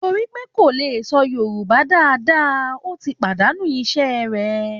Torí pé kò lè sọ Yorùbá dáadáa, ó ti pàdànú iṣẹ́ rẹ̀